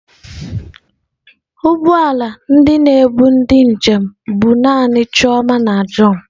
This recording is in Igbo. ụgbọ ala ndị na-ebu ndi njem bu naanị chioma na john.